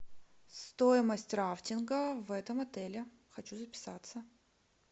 стоимость рафтинга в этом отеле хочу записаться